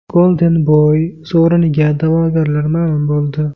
Golden Boy sovriniga da’vogarlar ma’lum bo‘ldi.